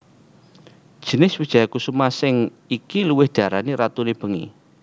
Jinis wijaya kusuma sing iki luwih diarani ratune bengi